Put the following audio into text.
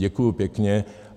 Děkuji pěkně.